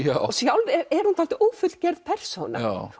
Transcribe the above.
og sjálf er hún dálítið ófullgerð persóna